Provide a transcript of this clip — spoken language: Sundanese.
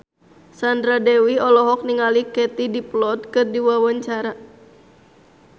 Sandra Dewi olohok ningali Katie Dippold keur diwawancara